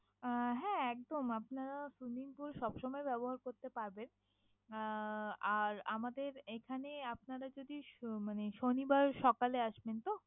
আহ হ্যাঁ একদম আপনারা swimming pool সবসময় ব্যাবহার করতে পারবেন। আহ আর আমাদের এখানে আপনারা যদি শ~ মানে শনিবার সকালে আসবেন তো?